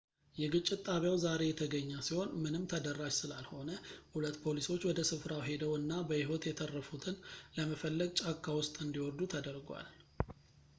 የግጭት ጣቢያው ዛሬ የተገኘ ሲሆን ምንም ተደራሽ ስላልሆነ ሁለት ፖሊሶች ወደ ስፍራው ሄደው እና በሕይወት የተረፉትን ለመፈለግ ጫካ ውስጥ እንዲወርዱ ተደርጓል